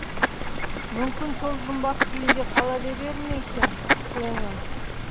мүмкін сол жұмбақ күйінде қала берер ме екен соңы